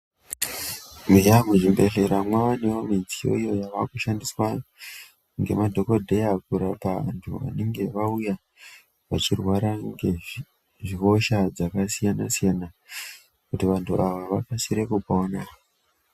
Eya muzvibhedhleya mwavanevo midziyo iyo yavakushandiswa ngemadhogodheya kurapa vantu vanenge vauya vachirwara ngezvihosha dzakasiyana-siyana, kuti vantu ava vakasire kupona.